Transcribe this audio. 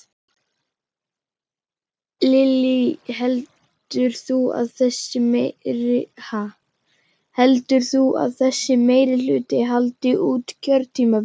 Lillý: Heldur þú að þessi meirihluti haldi út kjörtímabilið?